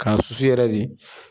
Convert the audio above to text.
K'a susu yɛrɛ de.